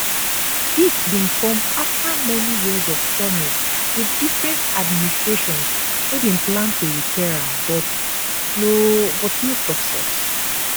dis bin come afta many years of promise wit different administrations wey bin plan to repair am but no but no success